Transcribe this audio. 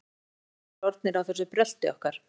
Bændur eru langþreyttir orðnir á þessu brölti okkar.